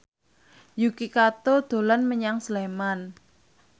Yuki Kato dolan menyang Sleman